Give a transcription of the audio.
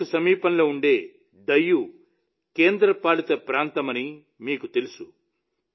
సోమనాథ్ కు సమీపంలో ఉండే డయ్యూ కేంద్రపాలిత ప్రాంతమని మీకు తెలుసు